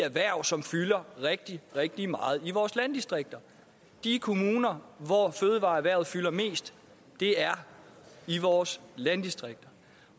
erhverv som fylder rigtig rigtig meget i vores landdistrikter de kommuner hvor fødevareerhvervet fylder mest er i vores landdistrikter